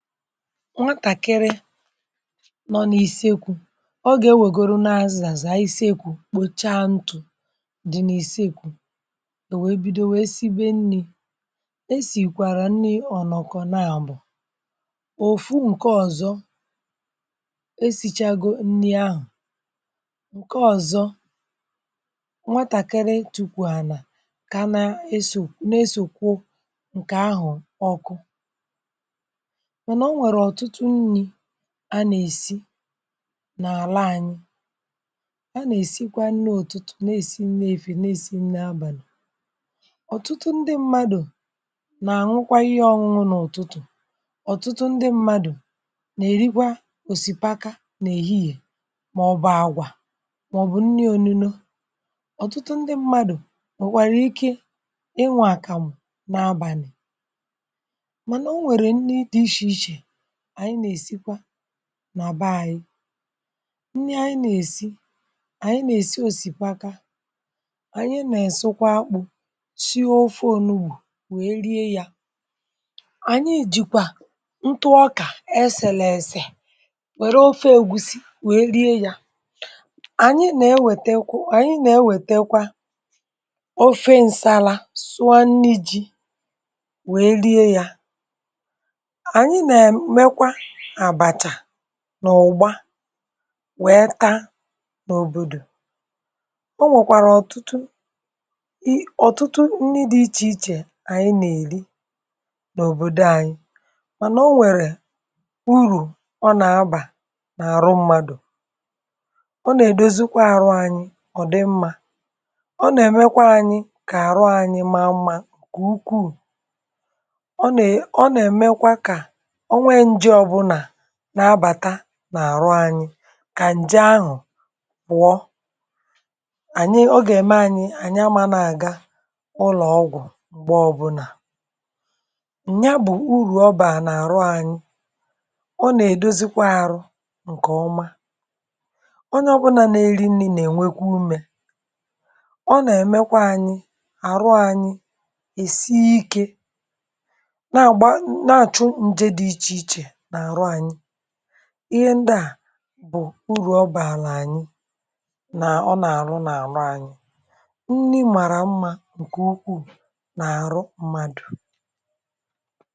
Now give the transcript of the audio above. Nwàtá-kìrì nọ n’isekwù Ọ gà-enwègoro n’azàsị̀ a isekwù, ịkpọ̀cha ntụ̀ dị n’isekwù, ò wèe bido[um] wèe sibe nni̇. Esìkwàrà nni ọ̀nọ̀kọ̀ nà àbọ̀ òfù, ǹkè ọ̀zọ esichago nni ahụ̀, ǹkè ọ̀zọ, nwàtá-kìrì tukwù ànà kà a nà n’esòesò nà esòkwò ǹkè ahụ̀. Ọkụ̇ a nà-èsi n’àla ànyị, a nà-èsikwa nni. Òtùtù na-èsi nni, efì na-èsi nni, abàlà. Òtùtù ndị mmadụ̀ nà-ànwụkwa ihe ọṅụṅụ, n’òtùtù, ọ̀tụtụ ndị mmadụ̀ nà-èrikwa òsìpaka um nà èhìhìè, màọ̀bụ̀ àgwà, màọ̀bụ̀ nni ònùno. Ọ̀tụtụ ndị mmadụ̀ nwèkwàrà ike ịnwà àkàmụ̀ nà abànị̀, nà àbà. Ànyị̇, ndị anyị, nà-èsi, ànyị nà-èsi òsìpaka, ànyị nà-èsukwa akpụ̇ sị ofe ònùbù wèe rie yà. Ànyị jìkwà ntụọkà ẹsẹ̀lẹ̀ẹ̀sẹ̀, wẹ̀rẹ ofe ègúsí wèe rie yà. Ànyị nà-ewètekwa, ànyị nà-ewètekwa um ofe ǹsàlà, sụọ ànni̇ ji̇ wèe rie yà, nà ụ̀gbà, wẹ̀ tà n’òbòdò. Ọ nwèkwàrà ọ̀tụtụ, ì, ọ̀tụtụ nri dị̇ iche iche ànyị nà-èri n’òbòdò anyị. Mànà o nwèrè urù ọ nà-abà n’àrụ mmádụ; ọ nà-èdozikwa arụ anyị, ọ dị mma, ọ nà-èmekwa anyị kà àrụ anyị maa mma. Ǹkè ukwuù na-abàta n’àrụ anyị, kà ǹje ahụ̀ bụ̀ọ ànyị, ọ gà-ème um anyị ànya, màná àgà ụlọ̀ ọgwụ̀ mgbè ọbụlà, ǹnya bụ̀ urù ọ bà n’àrụ anyị. Ọ nà-èdozikwa arụ ǹkè-ọma. Ọnyé ọbụlà nà-eri nni, nà-ènwèkwu umè, ọ nà-èmekwa anyị àrụ anyị èsie um ikè. Ihe ndị à bụ̀ urù ọ bàà n’ànyị, nà ọ nà-àrụ n’àrụ ànyị. Nni màrà mma, ǹkè ukwuù n’àrụ mmádụ.